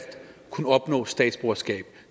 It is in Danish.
kunne få statsborgerskab